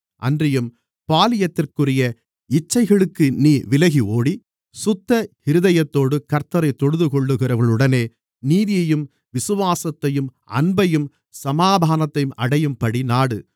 அன்றியும் பாலியத்திற்குரிய இச்சைகளுக்கு நீ விலகி ஓடி சுத்த இருதயத்தோடு கர்த்த்தரை தொழுதுகொள்ளுகிறவர்களுடனே நீதியையும் விசுவாசத்தையும் அன்பையும் சமாதானத்தையும் அடையும்படி நாடு